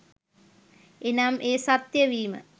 එනම් ඵ සත්‍ය වීම